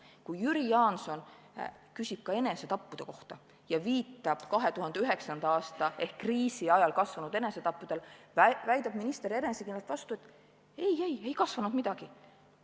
Kui Jüri Jaanson küsis enesetappude kohta ja viitas 2009. aastal ehk kriisi ajal kasvanud enesetappude arvule, väitis minister enesekindlalt vastu, et ei-ei, ei kasvanud midagi.